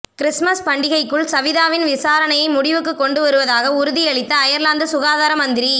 Christmas பண்டிகைக்குள் சவிதாவின் விசாரனையை முடிவுக்கு கொண்டு வருவதாக உறுதியளித்த அயர்லாந்து சுகாதார மந்திரி